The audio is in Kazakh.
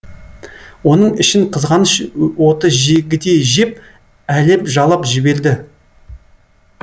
оның ішін қызғаныш оты жегідей жеп әлеп жалап жіберді